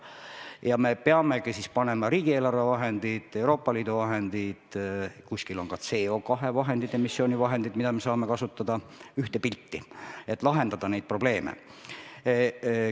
Ja me peamegi siis panema ühele pildile riigieelarve vahendid ja Euroopa Liidu vahendid, kuskil on ka CO2 vahendid, emissiooni vahendid, mida me saame kasutada, et neid probleeme lahendada.